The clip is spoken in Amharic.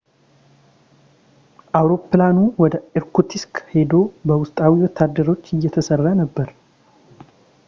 አውሮፕላኑ ወደ ኢርኩትስክ ሂዶ በውስጣዊ ወታደሮች እየተሰራ ነበር